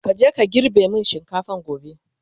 kaje ka girbe min shinkafan gobe!